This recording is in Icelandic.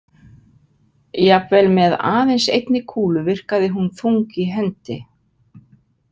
Jafnvel með aðeins einni kúlu virkaði hún þung í hendi.